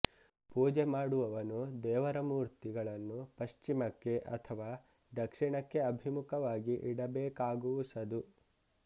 ಪೂಜೆ ಮಾಡುವವನು ದೇವರಮೂರ್ತಿಗಳನ್ನು ಪಶ್ಚಿಮಕ್ಕೆ ಅಥವಾ ದಕ್ಷಿಣಕ್ಕೆ ಅಭಿಮುಖವಾಗಿ ಇಡಬೇಕಾಗುವುಸದು